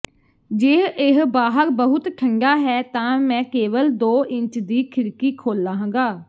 ਜੇ ਇਹ ਬਾਹਰ ਬਹੁਤ ਠੰਢਾ ਹੈ ਤਾਂ ਮੈਂ ਕੇਵਲ ਦੋ ਇੰਚ ਦੀ ਖਿੜਕੀ ਖੋਲ੍ਹਾਂਗਾ